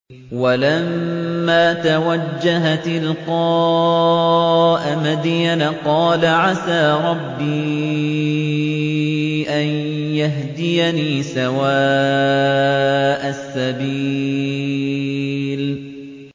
وَلَمَّا تَوَجَّهَ تِلْقَاءَ مَدْيَنَ قَالَ عَسَىٰ رَبِّي أَن يَهْدِيَنِي سَوَاءَ السَّبِيلِ